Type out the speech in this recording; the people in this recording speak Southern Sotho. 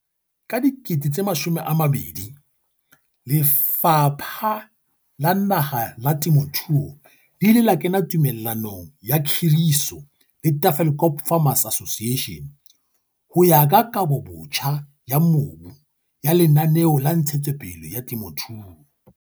Ka 2000, Lefapha la Naha la Temothuo le ile la kena tumellanong ya khiriso le Tafelkop Farmers Association ho ya ka Kabobotjha ya Mobu ya Lenaneo la Ntshetsopele ya Temothuo.